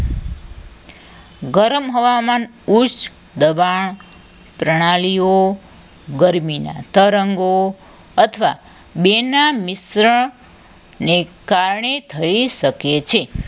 ગરમ હવામાન ઉચ્ચ દબાણ પ્રણાલીઓ ગરમીના તરંગો અથવા બે ના મિશ્રણ ને કારણે થઈ શકે છે